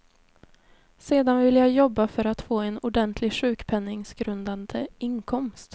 Sedan ville jag jobba för att få en ordentlig sjukpenningsgrundande inkomst.